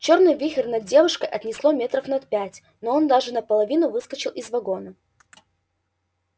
чёрный вихрь над девушкой отнесло метров на пять он даже наполовину выскочил из вагона